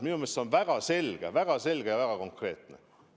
Minu meelest see on väga selge ja väga konkreetne siht.